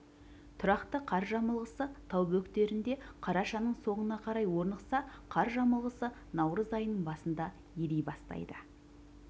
тұрақты қар жамылғысы тау бөктерінде қарашаның соңына қарай орнықса қар жамылғысы наурыз айының басында ери бастайды